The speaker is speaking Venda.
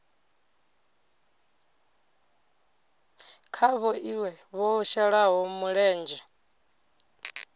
kha vhoṱhe vho shelaho mulenzhe